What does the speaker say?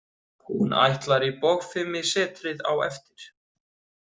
Hún ætlar í bogfimisetrið á eftir.